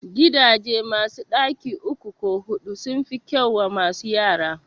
Gidaje masu ɗaki uku ko huɗu sun fi kyau wa masu yara